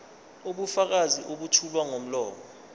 ubufakazi obethulwa ngomlomo